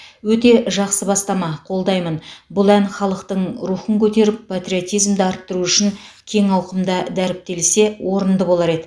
өте жақсы бастама қолдаймын бұл ән халықтың рухын көтеріп патриотизмді арттыру үшін кең ауқымда дәріптелсе орынды болар еді